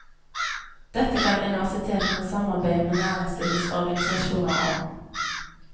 Dette kan universitetene samarbeide med næringslivets organisasjoner om.